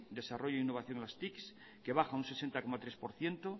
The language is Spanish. desarrollo e innovación a las tic que baja un sesenta coma tres por ciento